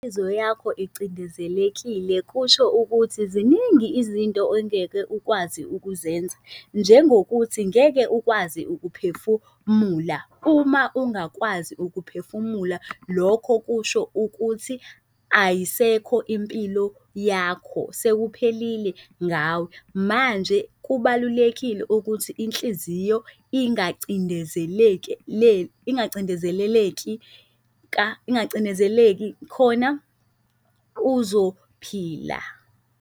Inhliziyo yakho icindezelekile kusho ukuthi ziningi izinto ongeke ukwazi ukuzenza njengokuthi ngeke ukwazi ukuphefumula. Uma ungakwazi ukuphefumula, lokho kusho ukuthi ayisekho impilo yakho sekuphelile ngawe. Manje kubalulekile ukuthi inhliziyo ingacindezeleki ingacindezeleleki ingacinezeleki khona uzophila.